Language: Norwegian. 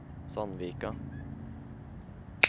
Sandvika